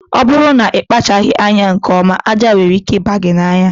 Ọ bụrụ na ịkpachaghị anya nke ọma, aja nwere ike ịba gị anya